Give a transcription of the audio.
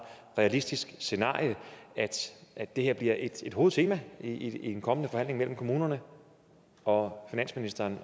realistisk scenarie at det her bliver et hovedtema i en kommende forhandling mellem kommunerne og finansministeren